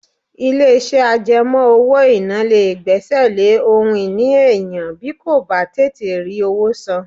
Ilé-iṣẹ́ àjẹmọ́ owó-ìná lè gbẹ́sẹ̀ lé ohun ìní èèyàn bí kò bá tètè rí owó san